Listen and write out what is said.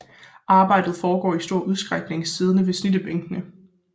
Arbejdet foregår i stor udstrækning siddende ved snittebænke